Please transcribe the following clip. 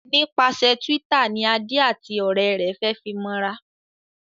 Nípasẹ Twitter ní Ade àti òré rẹ fe fí mọ ra